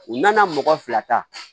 U nana mɔgɔ fila ta